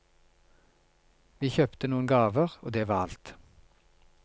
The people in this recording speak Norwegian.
Vi kjøpte noen gaver og det var alt.